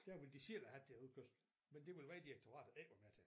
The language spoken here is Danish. Der vil de selv have deres udkørsel men det vil vejdirektoratet ikke være med til